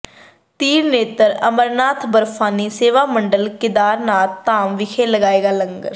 Trinetra Amarnath Barfani Seva Mandal Kedarnath Dham ਵਿਖੇ ਲਾਏਗਾ ਲੰਗਰ